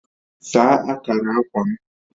Saa akara akwa m